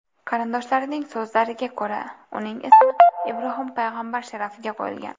Qarindoshlarining so‘zlariga ko‘ra, uning ismi Ibrohim payg‘ambar sharafiga qo‘yilgan.